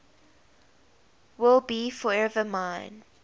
will be forever mine